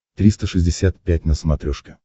триста шестьдесят пять на смотрешке